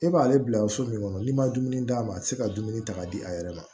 E b'ale bila so min kɔnɔ n'i ma dumuni d'a ma a ti se ka dumuni ta ka di a yɛrɛ ma